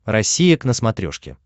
россия к на смотрешке